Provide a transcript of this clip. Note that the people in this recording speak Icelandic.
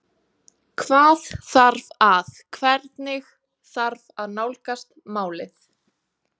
Hvað þarf að, hvernig þarf að nálgast málið?